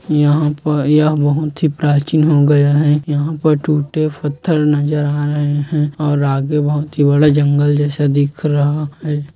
यहाँ पर यह बहुत ही प्राचीन हो गया है यह पर टूटे पत्थर नज़र आ रहे है ओर आगे बहुत ही बड़ा जंगल जैसा दिख रहा है।